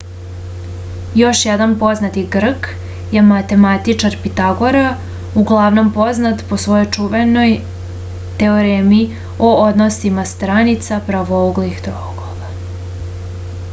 još jedan poznati grk je matematičar pitagora uglavnom poznat po svojoj čuvenoj teoremi o odnosima stranica pravouglih trouglova